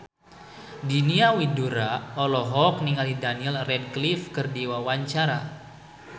Diana Widoera olohok ningali Daniel Radcliffe keur diwawancara